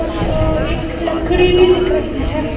और एक लकड़ी भी दिख रही है।